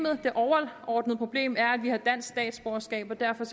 øje det overordnede problem er at vi har dansk statsborgerskab og derfor